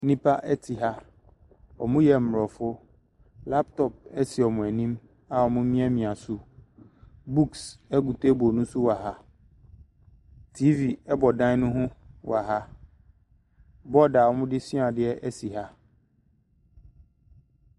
Nnipa ɛte ha, ɔmo yɛ mmorɔfo, laptɔp esi ɔmo anim a ɔmo miamia so. Buks egu teebol no so wɔ ha, tiivi ɛbɔ dan no ho wɔ ha, bɔɔd a ɔmo de sua adeɛ ɛsi ha.